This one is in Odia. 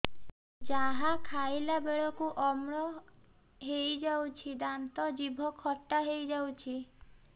ଯାହା ଖାଇଲା ବେଳକୁ ଅମ୍ଳ ହେଇଯାଉଛି ଦାନ୍ତ ଜିଭ ଖଟା ହେଇଯାଉଛି